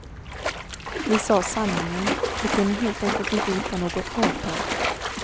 Vi sade sanningen, vi kunde helt enkelt inte hitta något avtal.